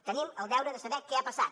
tenim el deure de saber què ha passat